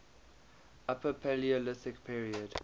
upper paleolithic period